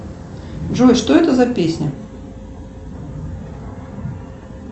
джой что это за песня